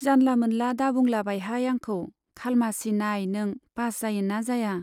जानला मोनला दाबुंलाबायहाय आंखौ , खालमासि नाइ नों पास जायोना जाया।